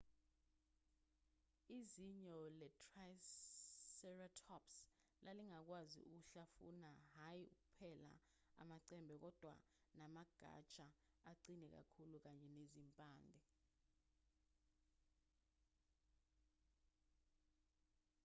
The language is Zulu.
izinyo le-triceratops lalingakwazi ukuhlafuna hhayi kuphela amacembe kodwa namagatsha aqine kakhulu kanye nezimpande